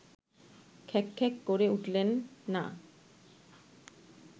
খ্যাঁক খ্যাঁক করে উঠলেন না